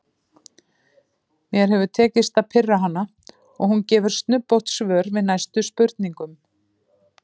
Mér hefur tekist að pirra hana og hún gefur snubbótt svör við næstu spurningum.